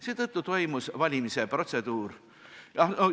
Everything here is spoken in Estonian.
Seetõttu toimus valimise protseduur ...